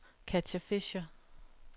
Katja Fischer